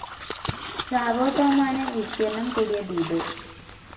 Sao ടോമാണ് വിസ്തീർണ്ണം കൂടിയ ദ്വീപ്.